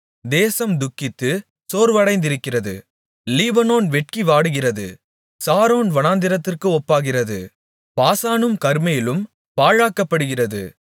தேசம் துக்கித்து சோர்வடைந்திருக்கிறது லீபனோன் வெட்கி வாடுகிறது சாரோன் வனாந்திரத்திற்கு ஒப்பாகிறது பாசானும் கர்மேலும் பாழாக்கப்படுகிறது